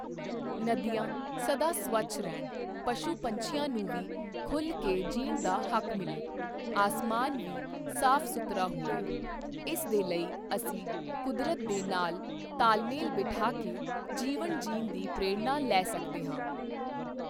ਨਦੀਆਂ ਸਦਾ ਸਵੱਛ ਰਹਿਣ, ਪਸ਼ੂ ਪੰਛੀਆਂ ਨੂੰ ਵੀ ਖੁੱਲ੍ਹ ਕੇ ਜੀਣ ਦਾ ਹੱਕ ਮਿਲੇ, ਅਸਮਾਨ ਵੀ ਸਾਫ਼ ਸੁਥਰਾ ਹੋਵੇ, ਇਸ ਦੇ ਲਈ ਅਸੀਂ ਕੁਦਰਤ ਦੇ ਨਾਲ ਤਾਲਮੇਲ ਬਿਠਾ ਕੇ ਜੀਵਨ ਜੀਣ ਦੀ ਪ੍ਰੇਰਣਾ ਲੈ ਸਕਦੇ ਹਾਂ।